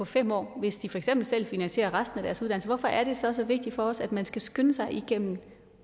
fem år hvis de for eksempel selv finansierer resten af deres uddannelse hvorfor er det så så vigtigt for os at man skal skynde sig igennem